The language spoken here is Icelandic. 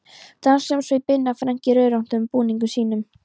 Danshljómsveit Binna Frank í rauðröndóttu búningunum sínum.